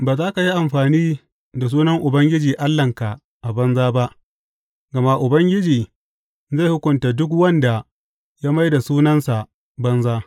Ba za ka yi amfani da sunan Ubangiji Allahnka a banza ba, gama Ubangiji zai hukunta duk wanda ya mai da sunansa banza.